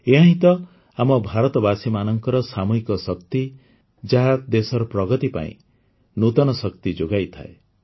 ଏହାହିଁ ତ ଆମ ଭାରତବାସୀମାନଙ୍କର ସାମୂହିକ ଶକ୍ତି ଯାହା ଦେଶର ପ୍ରଗତି ପାଇଁ ନୂତନ ଶକ୍ତି ଯୋଗାଇଥାଏ